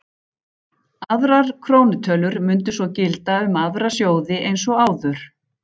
Aðrar krónutölur mundu svo gilda um aðra sjóði eins og áður.